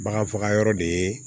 Bagan faga yɔrɔ de ye